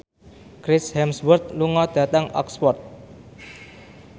Chris Hemsworth lunga dhateng Oxford